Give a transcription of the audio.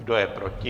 Kdo je proti?